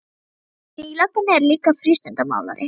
Frændi þinn í löggunni er líka frístundamálari.